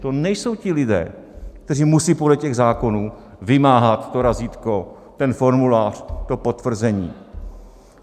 To nejsou ti lidé, kteří musejí podle těch zákonů vymáhat to razítko, ten formulář, to potvrzení.